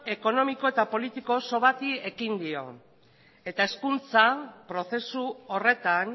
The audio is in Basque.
ekonomiko eta politiko oso bati ekin dio eta hezkuntza prozesu horretan